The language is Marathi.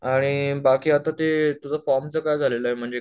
आणि बाकी आता ते तुझ्या फॉर्म च काय झालेलं आहे म्हणजे